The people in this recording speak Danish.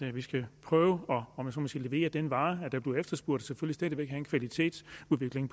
at vi skal prøve at levere den vare der bliver efterspurgt og selvfølgelig stadig væk have en kvalitetsudvikling